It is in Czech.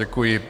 Děkuji.